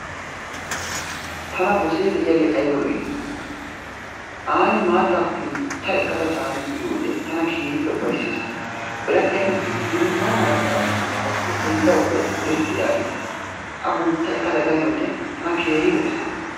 Tana gosee de'iyage ayba lo'i! Aani maattaa kuntta ekkada tani uyiyode tana keehippe uffayssees. Biradhdhiyappe biidi binaana gakkanashin tayo bolla ubbay irxxi yaagees. A kuntta ekkada ganiyode tana keehi lo'ees.